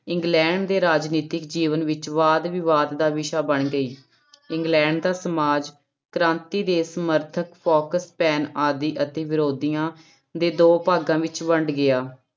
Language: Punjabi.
ਇੰਗਲੈਂਡ ਦੇ ਰਾਜਨੀਤਿਕ ਜੀਵਨ ਵਿੱਚ ਵਾਦ ਵਿਵਾਦ ਦਾ ਵਿਸ਼ਾ ਬਣ ਗਈ, ਇੰਗਲੈਂਡ ਦਾ ਸਮਾਜ ਕ੍ਰਾਂਤੀ ਦੇ ਸਮਰਥਕ ਫੋਕਸ ਪੈਨ ਆਦਿ ਅਤੇ ਵਿਰੋਧੀਆਂ ਦੇ ਦੋ ਭਾਗਾਂ ਵਿੱਚ ਵੰਡ ਗਿਆ।